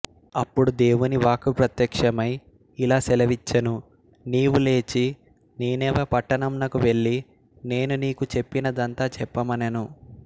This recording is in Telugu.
అప్పుడు దేవుని వాక్కు ప్రత్యక్షమై ఇలా సెలవిచ్చెను నీవు లేచి నీనెవె పట్టణంనకు వెళ్ళి నేను నీకు చెప్పినదంతా చెప్పమనెను